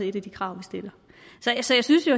et af de krav vi stiller så jeg synes jo